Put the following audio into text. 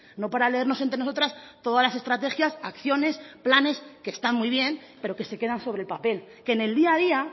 no para leernos entre nosotras todas las estrategias acciones planes que están muy bien pero que se quedan sobre el papel que en el día a día